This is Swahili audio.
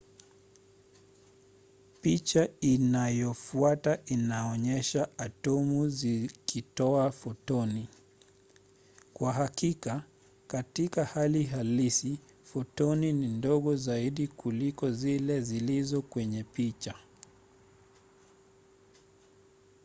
picha inayofuata inaonyesha atomu zikitoa fotoni. kwa hakika katika hali halisi fotoni ni ndogo zaidi kuliko zile zilizo kwenye picha